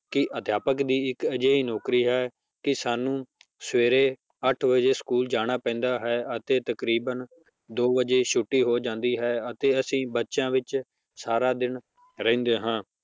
ਕਿ ਅਧਿਆਪਕ ਦੀ ਇੱਕ ਅਜਿਹੀ ਨੌਕਰੀ ਹੈ ਕਿ ਸਾਨੂੰ ਸਵੇਰੇ ਅੱਠ ਵਜੇ school ਜਾਣਾ ਪੈਂਦਾ ਹੈ ਅਤੇ ਤਕਰੀਬਨ ਦੋ ਵਜੇ ਛੁੱਟੀ ਹੋ ਜਾਂਦੀ ਹੈ ਅਤੇ ਅਸੀਂ ਬੱਚਿਆਂ ਵਿੱਚ ਸਾਰਾ ਦਿਨ ਰਹਿੰਦੇ ਹਾਂ